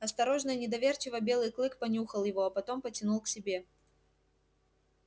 осторожно и недоверчиво белый клык понюхал его а потом потянул к себе